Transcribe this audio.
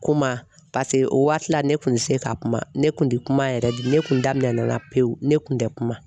Kuma paseke o waati la ne kun tɛ se ka kuma, ne kun tɛ kuma yɛrɛ de, ne kun da daminɛna n la pewu ne kun tɛ kuma.